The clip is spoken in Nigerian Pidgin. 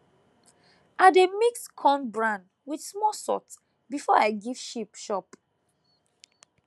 i dey mix corn bran with small salt before i give sheep chop